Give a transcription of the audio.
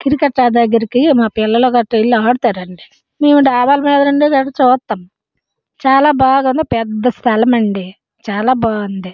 Cricket దగ్గరికి వెళ్లి మా పిల్లులు ఆడుకుంతారు మేము డాబామీద నుండి చూస్తాం చాలా బాగుంది పెద్ద సలాం చాలా బాగుంది.